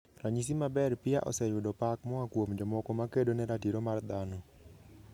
Ranyisi maber Pia oseyudo pak moa kuom jomoko ma kedo ne ratiro mar dhano.